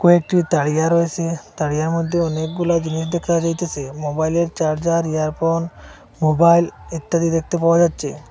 কয়েকটি তাড়িয়া রয়েসে তাড়িয়ার মধ্যে অনেকগুলা জিনিস দেখা যাইতেসে মোবাইলের চার্জার ইয়ারফোন মোবাইল ইত্যাদি দেখতে পাওয়া যাচ্ছে।